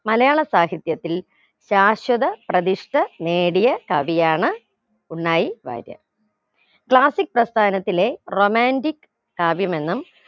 മലയാള സാഹിത്യത്തിൽ ശാശ്വത പ്രതിഷ്ഠ നേടിയ കവിയാണ് ഉണ്ണായി വാര്യർ classic പ്രസ്ഥാനത്തിലെ romantic കാവ്യമെന്നും